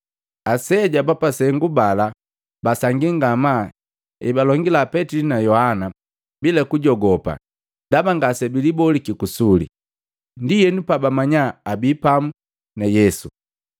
Aseja ba pasengu bala, basangii ngamaa ebalongila Petili na Yohana bila kujogopa ndaba ngasebiliboliki kusule. Ndienu pabamanya abii pamu na Yesu.